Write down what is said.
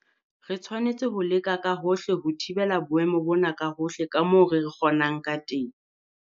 Re tshwanetse ho leka ka hohle ho thibela boemo bona ka hohle ka moo re kgonang ka teng.